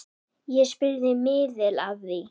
Ég spurði miðil að því.